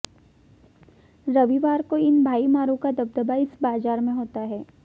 रविवार को इन भाईमारों का दबदबा इस बाजार में होता है